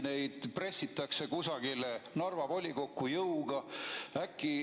Äkki neid pressitakse kusagile Narva volikokku jõuga?